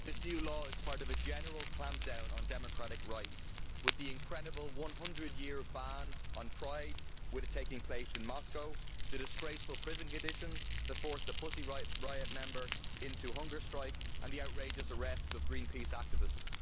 This new law is part of a general clampdown on democratic rights, with the incredible 100 year ban on Pride taking place in Moscow, the disgraceful prison conditions that forced the Pussy Riot member into hunger strike, and the outrageous arrests of Greenpeace activists.